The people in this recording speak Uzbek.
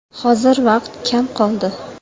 Hozir vaqt kam qoldi.